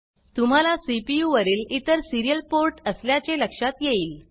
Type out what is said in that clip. तुम्हाला सीपीयू वरील इतर सिरीयल पोर्ट असल्याचे लक्षात येईल